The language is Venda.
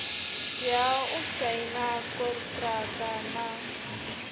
tea u saina konṱiraka na